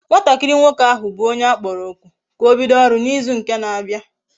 Nwatakiri nwoke ahu bu onye akporo oku ka obido oru na izu nke na abia